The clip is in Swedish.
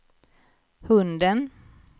hunden